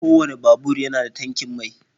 kowane babur yana da tankin mai.